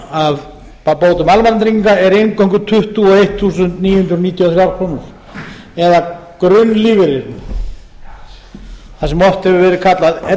bótum almannatrygginga er eingöngu tuttugu og eitt þúsund níu hundruð níutíu og þrjár krónur eða grunnlífeyrir það sem oft hefur verið kallað ellilífeyrir